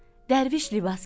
Dərviş libas gedirdi.